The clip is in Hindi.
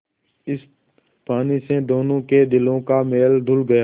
इस पानी से दोनों के दिलों का मैल धुल गया